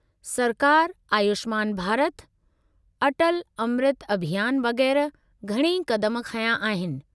सरकार आयुष्मान भारत, अटल अमृत अभियान वगै़रह घणई क़दम खंया आहिनि।